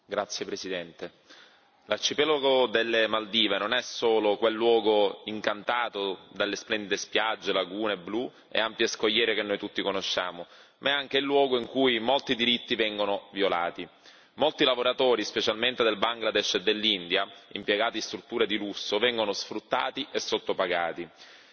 Signor Presidente, onorevoli colleghi, l'arcipelago delle Maldive non è solo quel luogo incantato dalle splendide spiagge, lagune blu e ampie scogliere che noi tutti conosciamo, ma è anche il luogo in cui molti diritti vengono violati. Molti lavoratori, specialmente del Bangladesh e dell'India, impiegati in strutture di lusso vengono sfruttati e sottopagati.